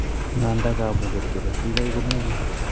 Ng'anda, kamuget ketes tigigaik ko mi ng'weny